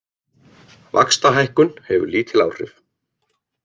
Vaxtahækkun hefur lítil áhrif